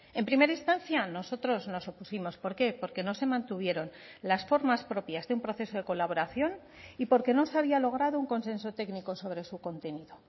en primera instancia nosotros nos opusimos por qué porque no se mantuvieron las formas propias de un proceso de colaboración y porque no se había logrado un consenso técnico sobre su contenido